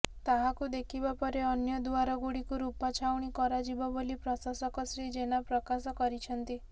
ତାହାକୁ ଦେଖିବା ପରେ ଅନ୍ୟ ଦୁଆର ଗୁଡିକୁ ରୁପାଛାଉଣି କରାଯିବ ବୋଲି ପ୍ରଶାସକ ଶ୍ରୀ ଜେନା ପ୍ରକାଶ କରିଛନ୍ତି